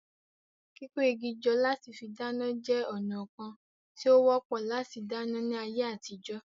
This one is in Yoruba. Kíkó igi jọ lati fí dáná jẹ́ ònà kán tí ó wọ́pọ̀ láti dáná ní àyè àtijọ́